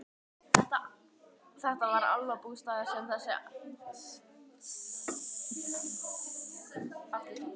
Þetta var álfabústaður með þessum álögum.